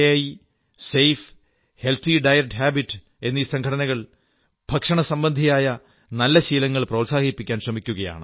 E safe healthy diet habits എന്നീ സംഘടനകൾ ഭക്ഷണസംബന്ധിയായ നല്ല ശീലങ്ങൾ പ്രോത്സാഹിപ്പിക്കാൻ ശ്രമിക്കയാണ്